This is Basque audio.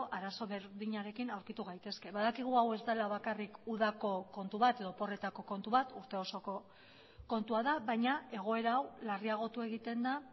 arazo berdinarekin aurkitu gaitezke badakigu hau ez dela bakarrik udako kontu bat edo oporretako kontu bat urte osoko kontua da baina egoera hau larriagotu egiten da